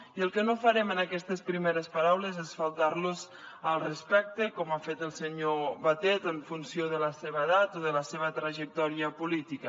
i el que no farem en aquestes primeres paraules és faltar los al respecte com ha fet el senyor batet en funció de la seva edat o de la seva trajectòria política